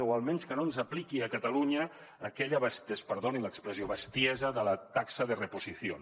o almenys que no ens apliqui a catalunya aquella perdonin l’expressió bestiesa de la taxa de reposición